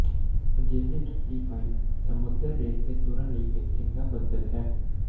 ਅਜਿਹੇ ਜੁੱਤੀ ਪਾਈ ਸਮੁੰਦਰ ਰੇਤ ਤੇ ਤੁਰਨ ਲਈ ਇੱਕ ਚੰਗਾ ਬਦਲ ਹੈ